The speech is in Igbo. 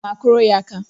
Aga m akụrụ ya aka.